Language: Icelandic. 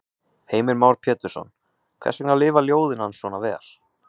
Heimir Már Pétursson: Hvers vegna lifa ljóðin hans svona vel?